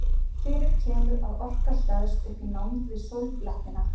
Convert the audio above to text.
Fyrir kemur að orka hleðst upp í nánd við sólblettina.